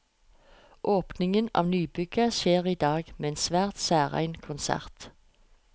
Åpningen av nybygget skjer i dag, med en svært særegen konsert.